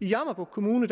jammerbugt kommune